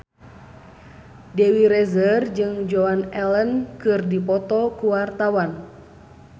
Dewi Rezer jeung Joan Allen keur dipoto ku wartawan